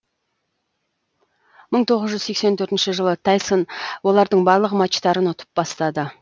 мың тоғыз жүз сексен төртінші жылы тайсон олардың барлық матчтарын ұтып бастады